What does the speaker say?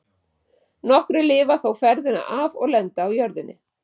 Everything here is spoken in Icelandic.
Nokkrir lifa þó ferðina af og lenda á jörðinni.